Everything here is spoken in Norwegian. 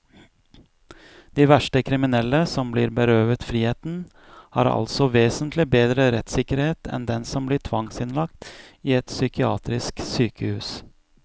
De verste kriminelle, som blir berøvet friheten, har altså vesentlig bedre rettssikkerhet enn den som blir tvangsinnlagt i et psykiatrisk sykehus.